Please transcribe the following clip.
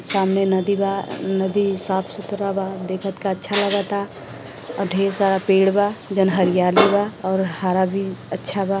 सामने नदी बा नदी साफ सुथरा बा देखत का अच्छा लागता आ ढेर सारा पेड़ बा जौन हरियाली बा और हरा भी अच्छा बा।